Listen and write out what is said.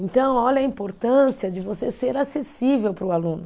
Então, olha a importância de você ser acessível para o aluno.